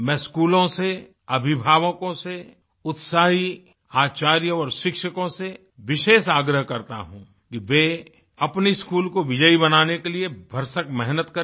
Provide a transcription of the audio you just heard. मैं स्कूलों से अभिभावकों से उत्साही आचार्यों और शिक्षकों से विशेष आग्रह करता हूँ कि वे अपने स्कूल को विजयी बनाने के लिए भरसक मेहनत करें